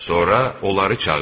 Sonra onları çağır.